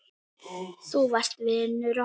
Þú varst vinur okkar.